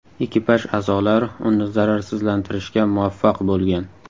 Ekipaj a’zolari uni zararsizlantirishga muvaffaq bo‘lgan.